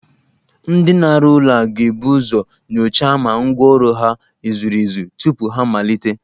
Ndị na-arụ ụlọ ga-ebu uzo nyochaa ma ngwa ọrụ ha e zuru ezu tupu ha amalite